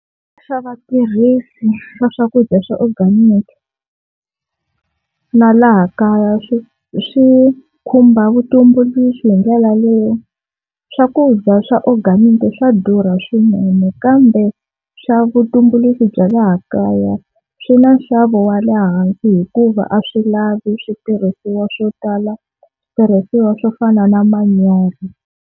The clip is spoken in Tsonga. Swa vatirhisi va swakudya swa organic na laha kaya swi swi khumba vutumbuluxi hi ndlela leyo, swakudya swa organic swa durha swinene kambe swa vutumbuluxi bya laha kaya swi na nxavo wa le hansi hikuva a swi lavi switirhisiwa swo tala switirhisiwa swo fana na manyoro.